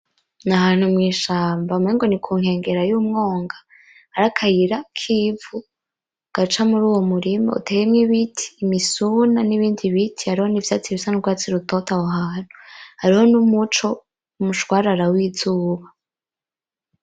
Nahantu mwishamba umengo nikunkengera y'umwonga hari akayira k'ivu gaca muruwo murima uteyemwo ibiti, imisuna, nibindi biti, hariho nivyatsi bisa nurwatsi rutoto aho hantu, hariho numuco umushwarara w'izuba